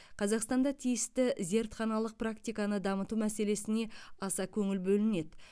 қазақстанда тиісті зертханалық практиканы дамыту мәселесіне аса көңіл бөлінеді